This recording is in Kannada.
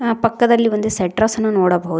ಆ ಪಕ್ಕದಲ್ಲಿ ಒಂದು ಸೆಟ್ರಸ್ ಅನ್ನ ನೋಡಬಹುದು.